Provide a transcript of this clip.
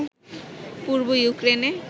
পূর্ব ইউক্রেনে